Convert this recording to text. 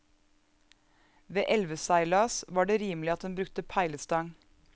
Ved elveseilas var det rimelig at en brukte peilestang.